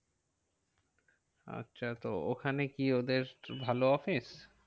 আচ্ছা তো ওখানে কি ওদের ভালো office